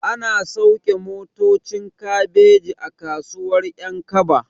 Ana sauke motocin kabeji a kasuwar ƴankaba